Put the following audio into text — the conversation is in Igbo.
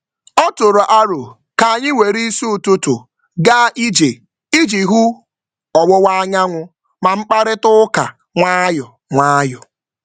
Ọ tụrụ aro ka anyị were isi ụtụtụ gaa ije iji wee hụ ọwụwa anyanwụ ma mkparịtaụka nwayọ nwayọ.